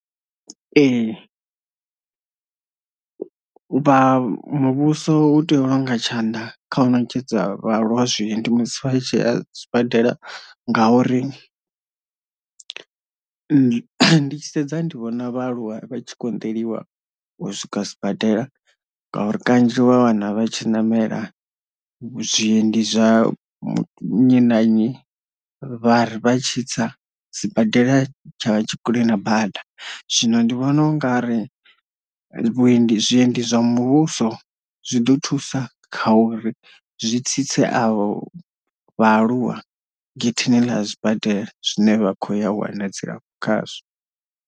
Ee vha muvhuso u tea u longa tshanḓa kha u ṋetshedza vhaaluwa zweendi musi vha tshi a sibadela ngauri ndi ndi tshi sedza ndi vhona vhaaluwa vha tshi koṋdeliwa u swika sibadela ngauri kanzhi wa wana vha tshi namela zwiendi zwa nnyi na nnyi vhari vha tshi tsa sibadela tshavha tshi kule na bada, zwino ndi vhona u nga ri vhuendi zwiendi zwa muvhuso zwi ḓo thusa kha uri zwi tsitse a vho vhaaluwa getheni ḽa zwibadela zwine vha khou ya wana dzilafho khazwo.